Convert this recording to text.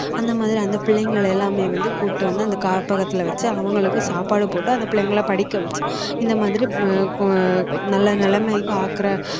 அந்த மாதிரி அந்த பிள்ளைங்களை எல்லாமே வந்து கூட்டிட்டு வந்து அந்த காப்பகத்துல வச்சு அவங்களுக்கு சாப்பாடு போட்டு அந்த பிள்ளைங்களை படிக்க வச்சு இந்த மாதிரி நல்ல நிலைமைக்கு ஆக்குற